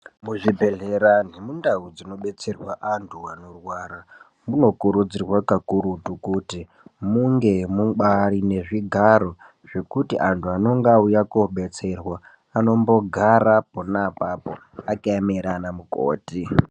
Muzvibhedhleya nemundau dzinodetserwa antu anorwara munokurudzirwa kakurutu kuti munge mubati nezvigaro zvekuti antu anenge auya kodetserwa anombogara pona apapo akaemera anamukoti.